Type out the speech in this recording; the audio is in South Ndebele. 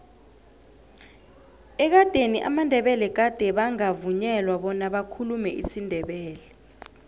ekadeni amandebele gade bangavunyelwa bona bakhulume isindebele